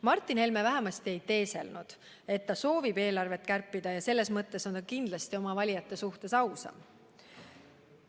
Martin Helme vähemasti ei teeselnud, et ta soovib eelarvet kärpida, ja selles mõttes on ta kindlasti oma valijate suhtes ausam.